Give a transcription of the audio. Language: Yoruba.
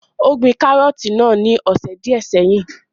Ó gbin kárọ̀tì náà ní ọ̀sẹ̀ díẹ́ sẹ́yìn.